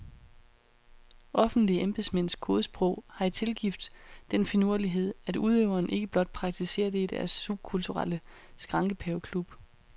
Offentlige embedsmænds kodesprog har i tilgift den finurlighed, at udøverne ikke blot praktiserer det i deres subkulturelle skrankepaveklub.